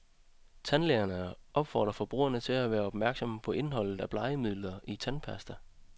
Tandlægerne opfordrer forbrugerne til at være opmærksomme på indholdet af blegemidler i tandpasta.